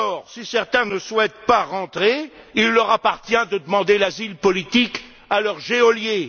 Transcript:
Si certains ne souhaitent pas rentrer, il leur appartient de demander l'asile politique à leurs geôliers.